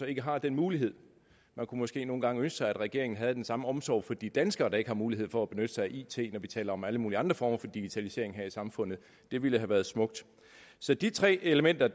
ikke har den mulighed man kunne måske nogle gange ønske sig at regeringen havde den samme omsorg for de danskere der ikke har mulighed for at benytte sig af it når vi taler om alle mulige andre former for digitalisering her i samfundet det ville have været smukt så de tre elementer